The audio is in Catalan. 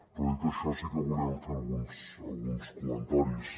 però dit això sí que volíem fer alguns comentaris